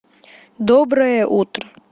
доброе утро